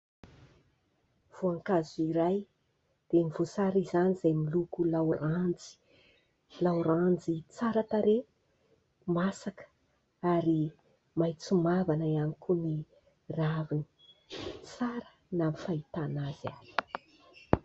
Voankazo iray dia ny voasary izany izay miloko laoranjy. Laoranjy tsara tarehy, masaka ary maitso mavana ihany koa ny raviny. Tsara na ny fahitana azy aza.